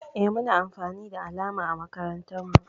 Eh Muna amfani da alama a makarantan mu.